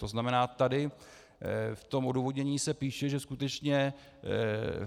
To znamená, tady v tom odůvodnění se píše, že skutečně